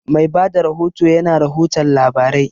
Mai bada rahoto ya na rahoton labarai